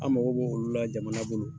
An mago b'olu la jamana bolo.